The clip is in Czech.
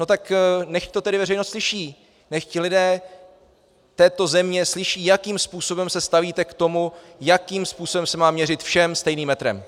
No tak nechť to tedy veřejnost slyší, nechť lidé této země slyší, jakým způsobem se stavíte k tomu, jakým způsobem se má měřit všem stejným metrem.